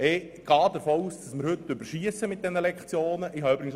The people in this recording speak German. Ich gehe davon aus, dass wir heute mit der Lektionenzahl übers Ziel hinausschiessen.